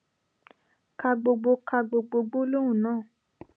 ka gbogbo ka gbogbo gbólóhùn náà